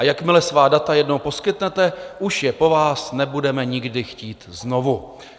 A jakmile svá data jednou poskytnete, už je po vás nebudeme nikdy chtít znovu."